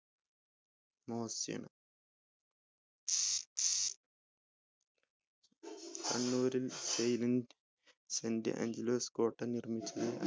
ആണ് കണ്ണൂരിൽ saint Angelo's കോട്ടനിർമ്മിച്ചത്